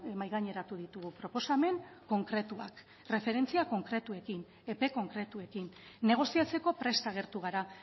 mahai gaineratu ditugu proposamen konkretuak erreferentzia konkretuekin epe konkretuekin negoziatzeko prest agertu gara